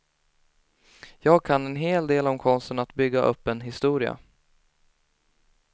Jag kan en hel del om konsten att bygga upp en historia.